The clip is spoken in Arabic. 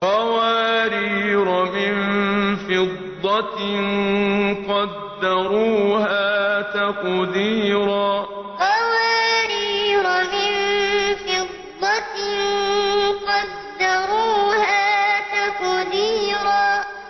قَوَارِيرَ مِن فِضَّةٍ قَدَّرُوهَا تَقْدِيرًا قَوَارِيرَ مِن فِضَّةٍ قَدَّرُوهَا تَقْدِيرًا